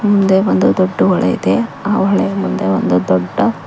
ಮುಂದೆ ಬಂದು ದೊಡ್ಡ ಹೊಳೆ ಇದೆ ಆ ಹೊಳೆಯ ಮುಂದೆ ಒಂದು ದೊಡ್ಡ--